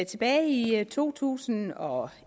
tilbage i to tusind og